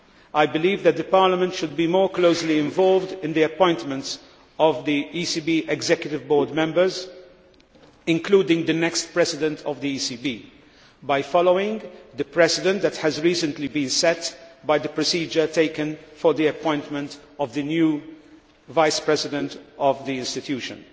I believe that Parliament should be more closely involved in the appointments of the ECB Executive Board members including the next President of the ECB by following the precedent that has recently been set by the procedure taken for the appointment of the new Vice President of the institution.